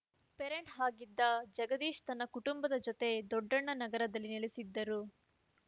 parents ಆಗಿದ್ದ ಜಗದೀಶ್‌ ತನ್ನ ಕುಟುಂಬದ ಜತೆ ದೊಡ್ಡಣ್ಣ ನಗರದಲ್ಲಿ ನೆಲೆಸಿದ್ದ